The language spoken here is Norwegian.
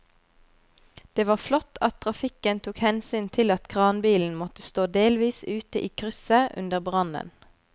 Det var flott at trafikken tok hensyn til at kranbilen måtte stå delvis ute i krysset under brannen.